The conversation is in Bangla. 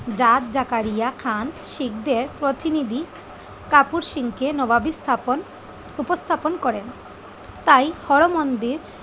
জাট জাকারিয়া খান শিকদের প্রতিনিধি কাপুর সিং কে নবাবী স্থাপন উপস্থাপন করেন। তাই হর মন্দির